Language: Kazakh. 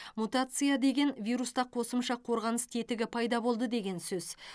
мутация деген вируста қосымша қорғаныс тетігі пайда болды деген сөз